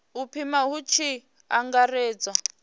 u pima hu tshi angaredzwa